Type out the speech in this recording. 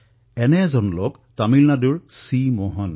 এনে এক ভদ্ৰলোকৰ ভিতৰত এজন হল তামিলনাডুৰ চি মোহন